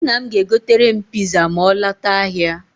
Nna m ga-egotere m piza ma ọ lọta ahịa.